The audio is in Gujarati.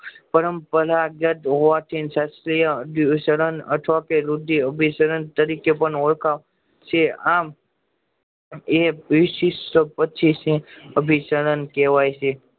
પરંપરાગત હોવા થી સાક્ષીતયા અધિસરણ અથવા અભિસરણ તારી કે ઓળખાય છે આમ એ અભિસરણ કેવાય છે